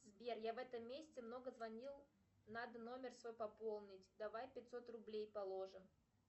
сбер я в этом месяце много звонил надо номер свой пополнить давай пятьсот рублей положим